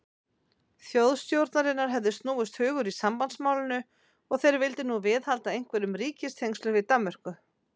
Þjóðstjórnarinnar hefði snúist hugur í sambandsmálinu, og þeir vildu nú viðhalda einhverjum ríkistengslum við Danmörku.